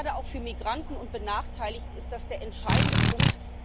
Gerade auch für Migranten und Benachteiligte ist das der entscheidende Punkt.